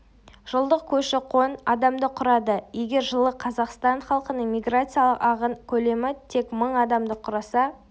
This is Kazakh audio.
жылдық көші-қон адамды құрады егер жылы қазақстан халқының миграциялық ағын көлемі тек мың адамды құраса